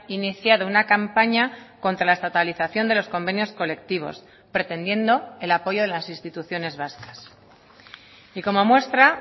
iniciado una campaña contra la estatalización de los convenios colectivos pretendiendo el apoyo de las instituciones vascas y como muestra